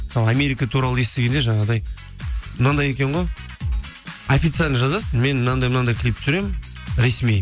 мысалы америка туралы естігенде жаңағыдай мынандай екен ғой официально жазасың мен мынандай мынандай клип түсіремін ресми